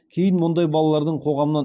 кейін мұндай балалардың қоғамнан